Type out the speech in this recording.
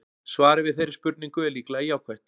Svarið við þeirri spurningu er líklega jákvætt.